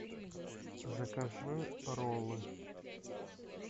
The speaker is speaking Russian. закажи роллы